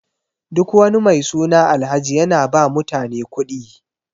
Duk wani mai suna Alhaji yana ba mutane kuɗi.